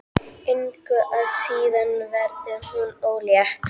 Engu að síður verður hún ólétt.